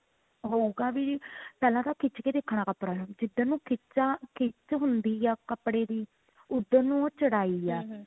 ਹੋਊਗਾ ਵੀ ਪਹਿਲਾਂ ਤਾਂ ਖਿੱਚ ਕੇ ਦੇਖਣਾ ਕੱਪੜਾ ਨੂੰ ਜਿੱਧਰ ਨੂੰ ਖਿਚਾ ਖਿੱਚ ਹੁੰਦੀ ਹੈ ਕੱਪੜੇ ਦੀ ਉੱਧਰ ਨੂੰ ਹੀ ਉਹ ਚੋੜਾਈ ਆ